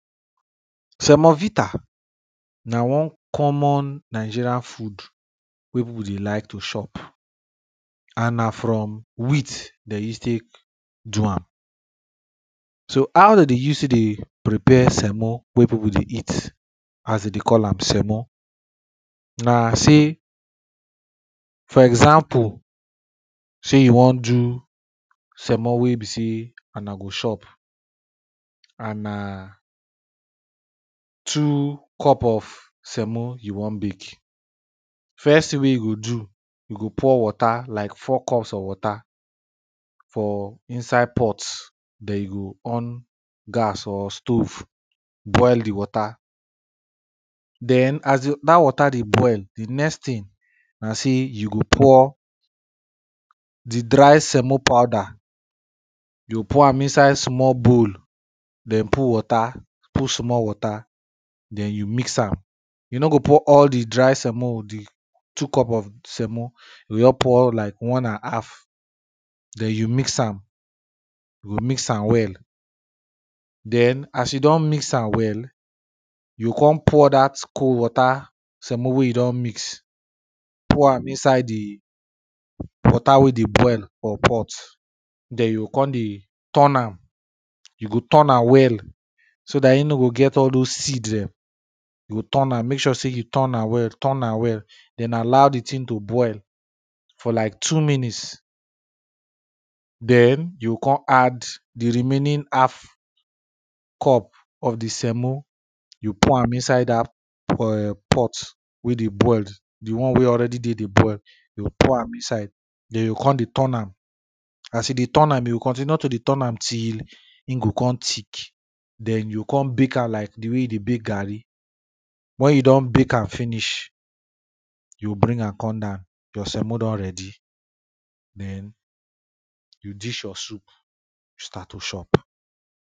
semovita na one common Nigerian food wey people dey like to chop and na from wheat den use take do am. so how dey dey use take dey prepare semo wey people dey eat as dem dey call am semo na say for example say you won do semo wey be say una go chop and na two cup of semo you won make first thing wey you go do, you go pour water like four cups of water, for inside pot den you go on gas or stove boil di water. den as di dat water dey boil di next thing na say you go pour di dry semo powder, you go pour am inside bowl den put water, put small water, den you mix am. you no go pour all di dry semo o, the two cup of semo you go just pour like one and half den you mix am you go mix am well den as you don mix am well, you go con pour dat cold water semo wey you don mix pour am inside di water wey dey boil for pot den you con dey turn am, you go turn am well so dat e no go get all those seed dem you go turn am make sure say you turn am turn am well den allow di thing to boil for like two minute den you o con add di remaining half cup of di semo you pour am inside dat um pot wey dey boil di one wey dey already dey boil, you pour am inside den you o con dey turn am as you dey turn am, you go continue to dey turn am till e go con thick den you o con bake am like di way you dey bake garri, wen you don bake am finish, you o bring am con down, your semo don ready, den you dish your soup, start to chop.